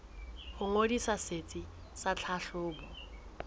ho ngodisa setsi sa tlhahlobo